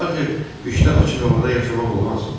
Axı qışda açıq havada yaşamaq olmaz."